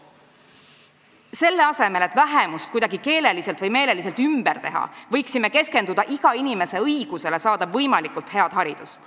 Selle asemel et vähemust kuidagi keeleliselt või meeleliselt ümber teha, võiksime keskenduda iga inimese õigusele saada võimalikult head haridust.